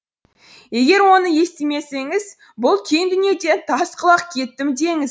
егер оны естімесеңіз бұл кең дүниеден тас құлақ кеттім деңіз